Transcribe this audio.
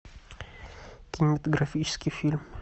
кинематографический фильм